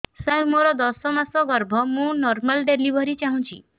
ସାର ମୋର ଦଶ ମାସ ଗର୍ଭ ମୁ ନର୍ମାଲ ଡେଲିଭରୀ ଚାହୁଁଛି